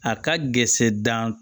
A ka gese dan